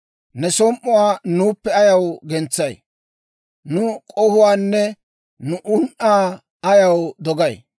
Ne som"uwaa nuuppe ayaw gentsay? Nu k'ohuwaanne nu un"aa ayaw dogay?